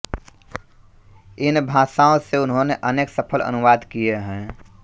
इन भाषाओं से उन्होंने अनेक सफल अनुवाद किए हैं